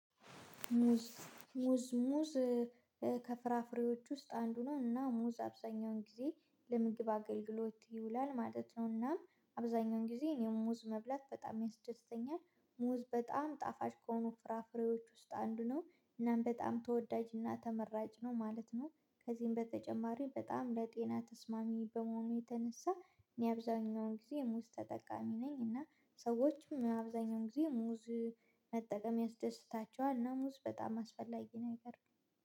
ሙዝ ሙዝ። ከፍራፍሬዎች ውስጥ አንዱ ነው እና ሙዝ አብዛኛውን ጊዜ ለምግብ አገልግሎት ይውላል ማለት ነውና አብዛኛውን ጊዜ እኔም ሙዝ መብላት በጣም ያስደስተኛል። ሙዝ በጣም ጣፋጭ ከሆኑ ፍራፍሬዎች ውስጥ አንዱ ነው እናም በጣም ተወዳጅና ተመራጭ ነው ማለት ነው። ከዚህም በተጨማሪ በጣም ለጤና ተስማሚ በመሆኑ የተነሳ እኔ አብዛኛውን ጊዜ የሙዝ ተጠቃሚ ነኝ። እና ሰዎችም አብዛኛውን ጊዜ ሙዝ መጠቀም ያስደስታቸዋል እና ሙዝ በጣም አስፈላጊ ነገር